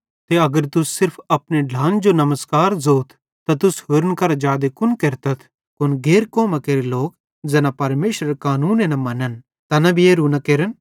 ते अगर तुस सिर्फ अपने ढ्लान जो नमस्कार ज़ोथ त तुस होरन करां जादे कुन केरतथ कुन गैर कौमां केरे लोक ज़ैना परमेशरेरे कानूने न मनन् तैना भी एरू न केरन